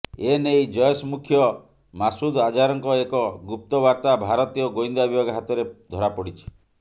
ଏନେଇ ଜୈଶ୍ ମୁଖ୍ୟ ମାସୁଦ୍ ଅଝାରଙ୍କ ଏକ ଗୁପ୍ତବାର୍ତ୍ତା ଭାରତୀୟ ଗୋଇନ୍ଦା ବିଭାଗ ହାତରେ ଧରାପଡ଼ିଛି